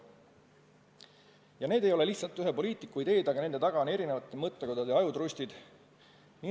Ja need ei ole lihtsalt ühe poliitiku ideed, vaid nende taga on erinevate mõttekodade ajutrustid.